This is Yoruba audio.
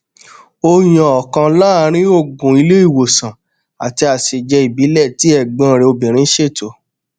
ó yan ọkan láàrín òògùn ilé ìwòsàn àti àsèjẹ ìbílẹ tí ẹgbọn rẹ obìnrin ṣètò